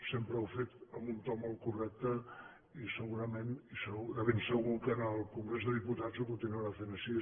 sempre ho ha fet amb un to molt correcte i segurament de ben segur que en el congrés dels diputats ho continuarà fent així